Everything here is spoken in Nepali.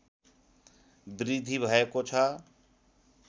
वृद्धि भएको छ